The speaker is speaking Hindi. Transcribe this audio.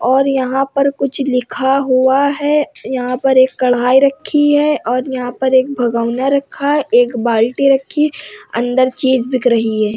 और यहाँ पर कुछ लिखा हुआ है यहाँ पर एक कड़ाही रखी है और यहाँ पर एक भगौना रखा है और एक बाल्टी रखी है अंदर चीज़ बिक रही है।